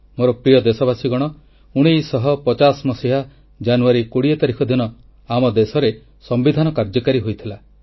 ମୋର ପ୍ରିୟ ଦେଶବାସୀଗଣ 1950 ମସିହା ଜାନୁୟାରୀ 2 0 ତାରିଖ ଦିନ ଆମ ଦେଶରେ ସମ୍ବିଧାନ କାର୍ଯ୍ୟକାରୀ ହୋଇଥିଲା